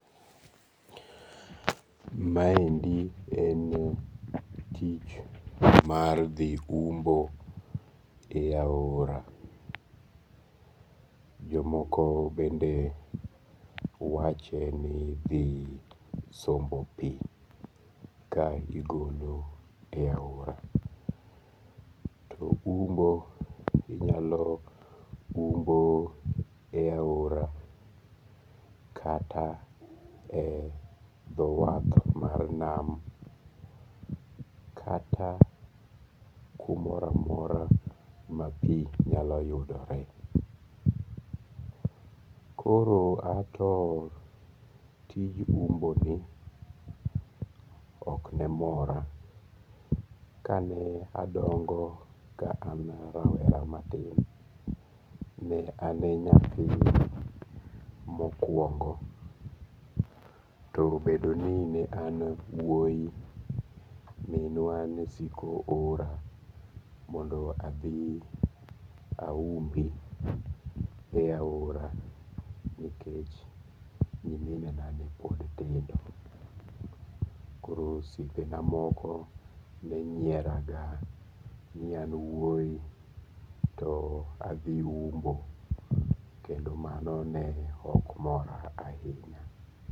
Maendi en tich mar dhi umbo e aora. Jomoko bende wache ni dhi sombo pi ka gigolo e aora. To umbo inyalo umbo e aora kata e dho wath mar nam, kata kumoro amora ma pi nyalo yudore. Koro ato, tij umbo ni ok ne mora. Ka ne adongo ka an rawera matin, ne ane nyathi mokwongo to bedo ni ne an e wuoyi, minwa ne siko ora mondo adhi aumbi e aora. Nikech nyiminena ne pod tindo. Koro osiepe na moko ne nyiera ga ni an wuoyi to adhi umbo. Kendo mano ne ok mora ahinya.